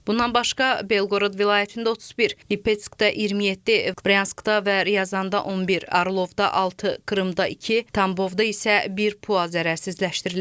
Bundan başqa, Belqorod vilayətində 31, Lipetskdə 27, Bryanskda və Ryazanda 11, Orlovda 6, Krımda 2, Tambovda isə bir PUA zərərsizləşdirilib.